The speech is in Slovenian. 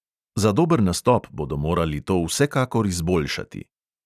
Za dober nastop bodo morali to vsekakor izboljšati.